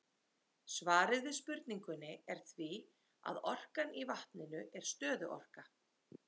Svarið við spurningunni er því að orkan í vatninu er stöðuorka.